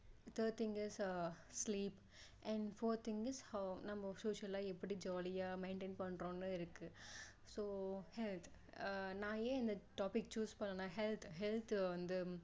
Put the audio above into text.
third thing is sleep and fourth thing is நம்ம social லா எப்படி jolly யா maintain பண்றோம்னு இருக்கு so health நான் என் இந்த topic choose பண்ணேன்னா health health வந்து